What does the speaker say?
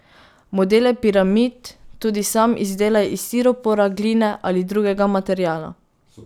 Modele piramid tudi sam izdelaj iz stiropora, gline ali drugega materiala.